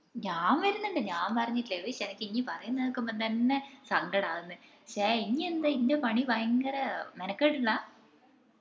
ഞാൻ വരുന്നുണ്ട് ഞാൻ പറഞ്ഞിട്ടില്ലേ ഉയിശ് അനക്ക് ഇഞ് പറേന്ന കേക്കുമ്പോ തന്നെ സങ്കടം ആവുന്ന് ഇഞ്ഞെന്ന ഇഞ് പണി ഭയങ്കര മെനക്കെട് ഇള്ളതാ